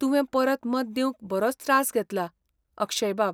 तुवें परत मत दिवंक बरोच त्रास घेतला, अक्षय बाब .